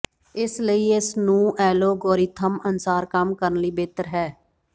ਇਸ ਲਈ ਇਸ ਨੂੰ ਐਲਗੋਰਿਥਮ ਅਨੁਸਾਰ ਕੰਮ ਕਰਨ ਲਈ ਬਿਹਤਰ ਹੈ